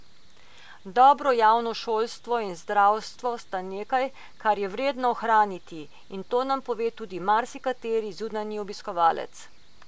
Dobro javno šolstvo in zdravstvo sta nekaj, kar je vredno ohraniti, in to nam pove tudi marsikateri zunanji obiskovalec.